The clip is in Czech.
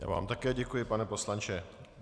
Já vám také děkuji, pane poslanče.